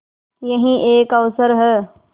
यही एक अवसर है